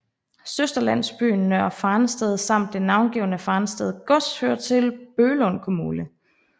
Søsterlandsbyen Nørre Farensted samt det navnegivende Farensted gods hører til Bøglund kommune